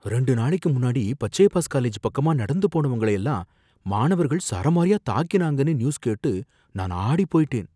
ரெண்டு நாளைக்கு முன்னாடி பச்சையப்பாஸ் காலேஜ் பக்கமா நடந்து போனவங்கள எல்லாம் மாணவர்கள் சரமாரியா தாக்கினாங்கன்னு நியூஸ் கேட்டு நான் ஆடிப் போயிட்டேன்.